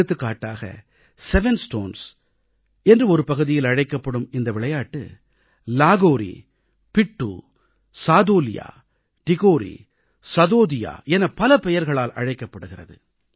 எடுத்துக்காட்டாக 7 stones 7 stones என்று ஒருபகுதியில் அழைக்கப்படும் இந்த விளையாட்டு லஹவுரி பிட்டூ சாதோலியா டிகோரி சதோதியா என பல பெயர்களால் அழைக்கப்படுகிறது